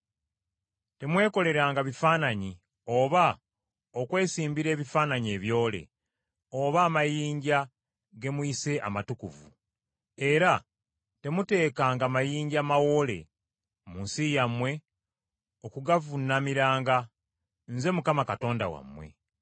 “Temwekoleranga bifaananyi oba okwesimbira ebifaananyi ebyole, oba amayinja ge muyise amatukuvu, era temuteekanga mayinja mawoole mu nsi yammwe okugavuunamiranga. Nze Mukama Katonda wammwe.